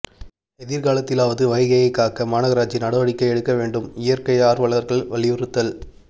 எதிர்காலத்திலாவது வைகையை காக்க மாநகராட்சி நடவடிக்கை எடுக்க வேண்டும் இயற்கை ஆர்வலர்கள் வலியுறுத்தல்